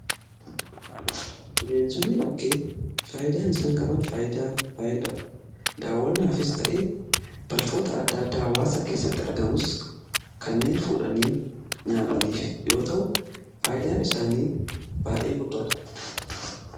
Bineensonni bakkee faayidaan isaan qaban faayidaa baayeedha. Daawwanaafis ta'e balfoota adda addaa hawaasa keessatti argamus kanneen fuudhanii nyaataniif yoo ta'u faayidaan isaanii baay'ee guddaadha.